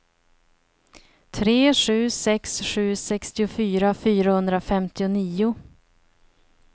tre sju sex sju sextiofyra fyrahundrafemtionio